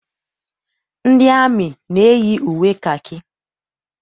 Ndị amị na-eyi uwe kakị.